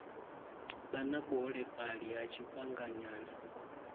vha na vhuholefhali ha tshifhinganyana